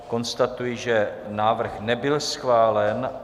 Konstatuji, že návrh nebyl schválen.